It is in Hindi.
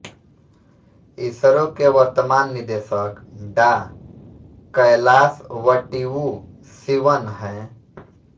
इसरो के वर्तमान निदेशक डॉ कैलासवटिवु शिवन् हैं